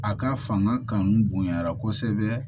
A ka fanga kanu bonɲayara kosɛbɛ